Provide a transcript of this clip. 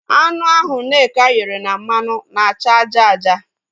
Anụ ahụ Nneka ghere na mmanụ na-acha aja aja